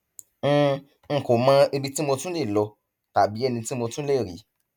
n n kò mọ ibi tí mo tún lè lọ tàbí ẹni tí mo tún lè rí